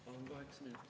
Palun kaheksa minutit.